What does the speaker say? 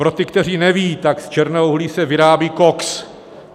Pro ty, kteří nevědí, tak z černého uhlí se vyrábí koks.